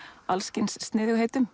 alls kyns